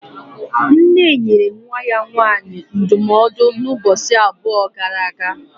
Nne nyere nwa ya nwaanyị ndụmọdụ ụbọchị abụọ gara aga